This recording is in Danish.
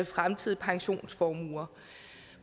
fremtidige pensionsformuer